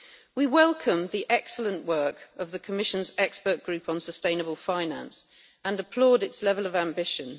We welcome the excellent work of the Commission's Expert Group on Sustainable Finance and applaud its level of ambition.